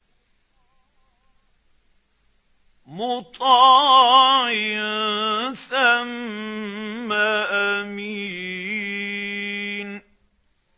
مُّطَاعٍ ثَمَّ أَمِينٍ